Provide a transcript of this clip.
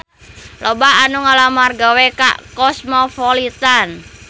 Loba anu ngalamar gawe ka Cosmopolitan